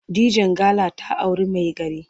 Dijangala ta auri maigari.